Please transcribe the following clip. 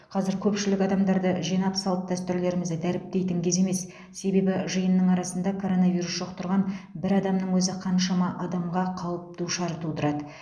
қазір көпшілік адамдарды жинап салт дәстүрлерімізді дәріптейтін кез емес себебі жиынның арасында коронавирус жұқтырған бір адамның өзі қаншама адамға қауіп душар тудырады